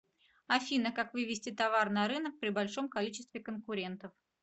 афина как вывести товар на рынок при большом количестве конкурентов